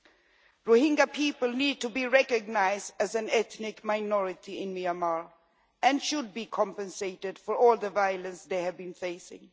The Rohingya people need to be recognised as an ethnic minority in Myanmar and should be compensated for all the violence they have been facing.